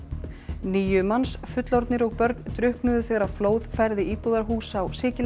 níu manns fullorðnir og börn drukknuðu þegar flóð færði íbúðarhús á Sikiley